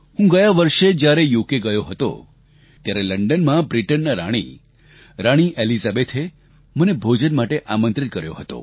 હું ગયા વર્ષે જ્યારે યુકે ગયો હતો ત્યારે લંડનમાં બ્રિટનના રાણી રાણી એલિઝાબેથે મને ભોજન માટે આમંત્રિત કર્યો હતો